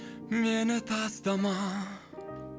мені тастама